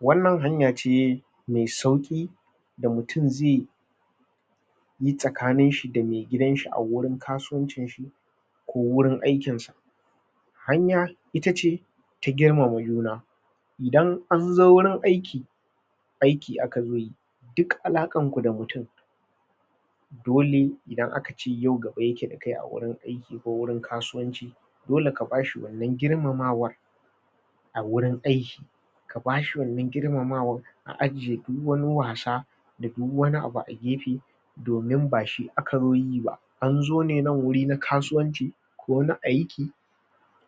wannan hanya ce me sauki da mutun zeyi tsakanin shi da me gidanshi awurin kasuwancin shi ko wurin aikin sa hanya ita ce ta girmama juna idan anzo wurin aiki aiki aka zoyi duk alakan ku da mutum dole idan akacem yau gabayake dakai a wurin aiki ko wurin kasuwanci dole ka bashi wannan girmamawan a wurin aiki kabashi wannan girmamawan a ajiye duk wani wasa da duk wani abu a gefe domin ba shi aka zo yiba anzo ne nan wuri na kasuwanci ko na aiki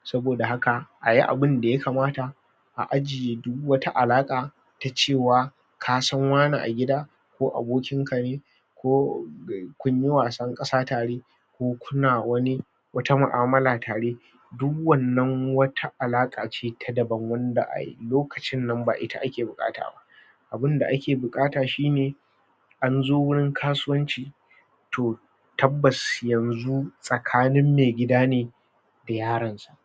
saboda haka ayi abun da yakamata a ajiye duk wata alaka ta cewa kasan wane a gida ko abokinka ne ko kunyi wasan kasa tare ko kuna wani wata mu'amala tare duk wannan wata alaka ce ta daban wanda a lokaci ba ita ake bukata ba abun da ake bukata shine anzo wurin kasuwanci to tabbas yanzu tsakanin me gidane da yaron sa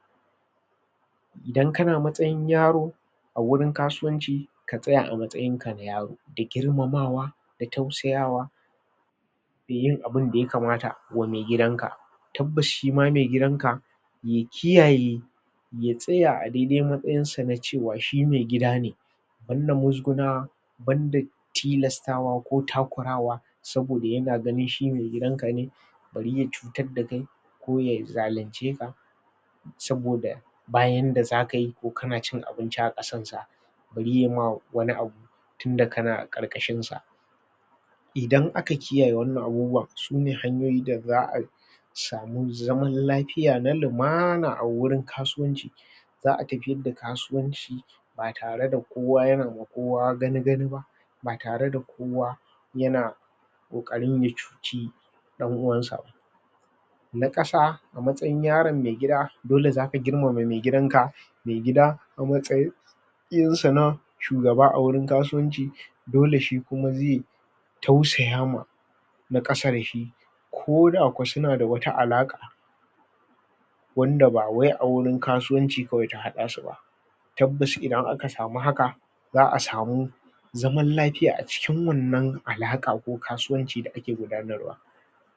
idan kana matsayin yaro a wurin kasuwanci ka tsaya amatsayin ka na yaro da girmamawa da tausayawa dayin abunda yakamata ma megidanka tabbas shima me gidan ka ya kiyaye ya tsaya a daide matsayin sa na cewa shi megida ne banda musgunawa banda tilastawa ko takurawa saboda yana ganin shi me gidanka ne bari ya cutar da kai ko yazalunce ka saboda ba yanda zaka yi ko kana cin abinci akasan sa bari yama wani abu tunda kana a karkashin sa idan aka kiyaye wannan abubuwan sune hanyoyi da za'a samu zaman lafiya na lumana awurin kasuwanci za'a tafiyar da kasuwanci batare da kowa yana ma kowa gani-gani ba ba tare da kowa yana kokarin yacuci dan'uwansa ba na kasa amtsayin yaron me gida dole zaka girmama me gidanka me gida a matsayin sa shugaba a wurin kasuwanci dole shikuma ze tausaya ma na kasa dashi koda ko suna da wata alaka wanda bawai a wurin kasuwan ci ta hada suba tabbas idan aka samu haka za'a samu zaman lafiya acikin wannan alaka ko kasuwanci da ake gudanar wa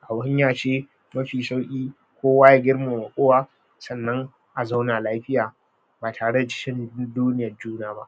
kawanya ce mafi shauki kowa ya girmama kowa sannan azauna lafiya batare da cin dudduniyan juna ba